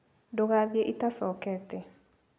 Ndũgathiĩ itacokete.